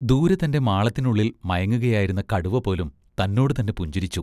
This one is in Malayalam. ദൂരെ തൻ്റെ മാളത്തിനുള്ളിൽ മയങ്ങുകയായിരുന്ന കടുവപോലും തന്നോടുതന്നെ പുഞ്ചിരിച്ചു.